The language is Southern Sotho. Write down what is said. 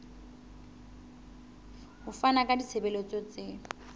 ho fana ka ditshebeletso tse